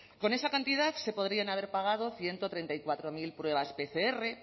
con esa cantidad se podrían haber pagado ciento treinta y cuatro mil pruebas pcr